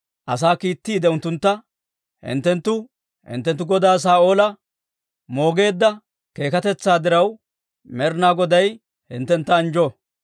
asaa kiittiide unttuntta, «Hinttenttu hinttenttu godaa Saa'oola moogeedda keekatetsaa diraw, Med'inaa Goday hinttentta anjjo.